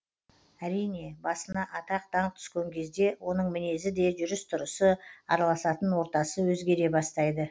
әрине басына атақ даңқ түскен кезде оның мінезі де жүріс тұрысы араласатын ортасы өзгере бастайды